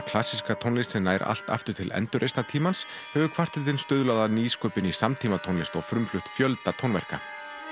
klassíska tónlist sem nær allt aftur til hefur kvartettinn stuðlað að nýsköpun í samtímatónlist og frumflutt fjölda tónverka